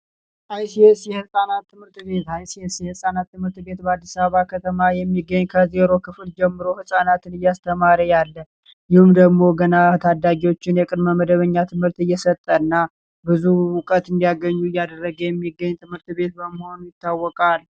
አይሲስ የሕፃናት ትምህርት ቤት አይሲስ የሕፃናት ትምህርት ቤት በአዲስ አበባ ከተማ የሚገኝ ከዜሮ ክፍል ጀምሮ ሕፃናትን እይስተማረ ያለ እንዲሁም፤ ገና ታዳጊዎቹን የቅድመ መደበኛ ትምህርት እየሰጠ እና ብዙ እውቀት እንዲያገኙ እያደረገ የሚገኝ ትምህርት ቤት በመሆን ይታወቃል።